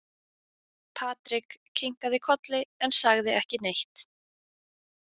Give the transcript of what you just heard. Patrik kinkaði kolli en sagði ekki neitt.